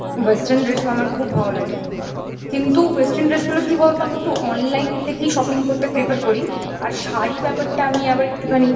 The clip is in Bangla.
western dress ও আমার খুব ভালো লাগে কিন্তু western dress গুলো কিভাবে বা আমি একটু online থেকেই shopping করতে prefer করি আর শাড়ি ব্যাপারটা আমি আবার একটুখানি